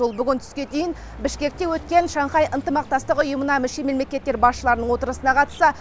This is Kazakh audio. ол бүгін түске дейін бішкекте өткен шанхай ынтымақтастық ұйымына мүше мемлекеттер басшыларының отырысына қатысса